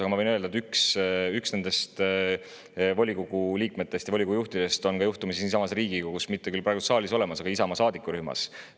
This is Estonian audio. Aga ma võin öelda, et üks nendest volikogu liikmetest, volikogu juhtidest on juhtumisi siinsamas Riigikogus, mitte küll praegu saalis, aga Isamaa.